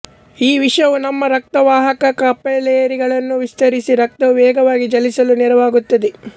ಈ ವಿಷವು ನಮ್ಮ ರಕ್ತವಾಹಕ ಕೆಪೆಲೆರಿಗಳನ್ನು ವಿಸ್ತರಿಸಿ ರಕ್ತವು ವೇಗವಾಗಿ ಚಲಿಸಲು ನೆರವಾಗುತ್ತದೆ